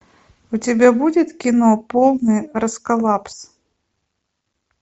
у тебя будет кино полный расколбас